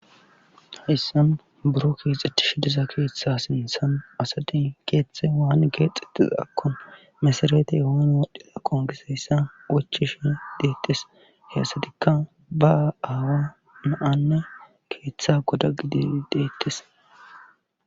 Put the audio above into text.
issan buro kiexetish diza keeththa sinthan asadi keeththe waanne geexxetiza akkon mesaraeeti ehon wodhdhila qon giseyssa ochishi deettes he asadikka ba aawa naanne keeththa goda gidi deettes